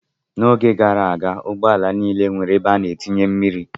N'oge gara aga, ụgbọala niile nwere ebe a na-etinye mmiri.